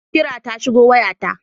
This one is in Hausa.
Kira ta shigo waya ta.